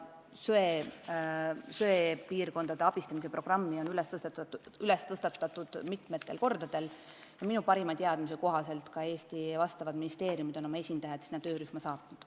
See söepiirkondade abistamise programm on tõstatatud mitmel korral ja minu teada ka Eesti valdkonnaministeeriumid on oma esindajad sinna töörühma saatnud.